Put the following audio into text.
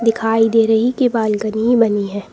दिखाई दे रही कि बालकनी बनी है।